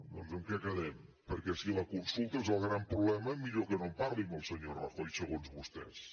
doncs en què quedem perquè si la consulta és el gran problema millor que no en parli amb el senyor rajoy segons vostès